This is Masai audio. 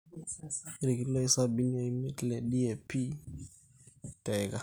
ilkiloi sabini o imiet le DAP teika